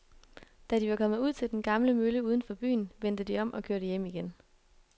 Da de var kommet ud til den gamle mølle uden for byen, vendte de om og kørte hjem igen.